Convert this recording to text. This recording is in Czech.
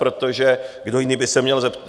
Protože kdo jiný by se měl zeptat?